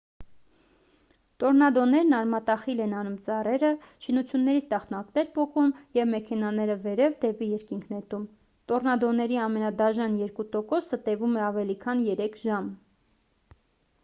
տորնադոներն արմատախիլ են անում ծառերը շինություններից տախտակներ պոկում և մեքենաները վերև դեպի երկինք նետում տորնադոների ամենադաժան երկու տոկոսը տևում է ավելի քան երեք ժամ